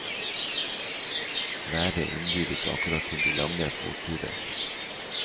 Været innbyr ikke akkurat til de lange fotturer.